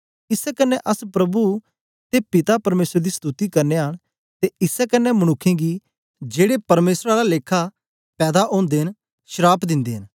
इसै कन्ने अस प्रभु ते पिता परमेसर दी स्तुति करनयां न ते इसै कन्ने मनुक्खें गी जेड़े परमेसर दे आला लेखा च पैदा ओदे न श्राप दिंदे न